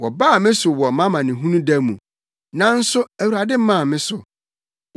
Wɔbaa me so wɔ mʼamanehunu da mu, nanso Awurade maa me so,